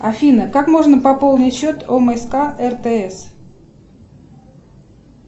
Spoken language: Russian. афина как можно пополнить счет омск ртс